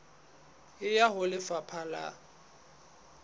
e ya ho lefapha la